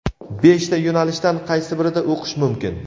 Beshta yo‘nalishdan qaysi birida o‘qish mumkin?.